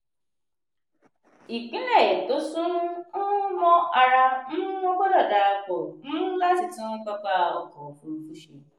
ìpínlẹ̀ tó sún um mọ́ ara um wọn gbọ́dọ̀ darapọ̀ um láti tun pápá ọkọ̀ òfurufú ṣe.